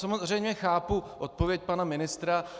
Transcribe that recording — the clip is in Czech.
Samozřejmě chápu odpověď pana ministra.